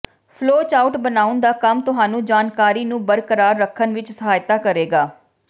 flowchart ਬਣਾਉਣ ਦਾ ਕੰਮ ਤੁਹਾਨੂੰ ਜਾਣਕਾਰੀ ਨੂੰ ਬਰਕਰਾਰ ਰੱਖਣ ਵਿਚ ਸਹਾਇਤਾ ਕਰੇਗਾ